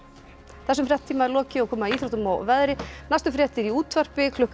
þessum fréttatíma er lokið og komið að íþróttum og veðri næstu fréttir eru í útvarpi klukkan